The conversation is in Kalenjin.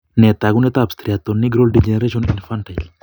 Nee taakunetaab Striatonigral degeneration infantile?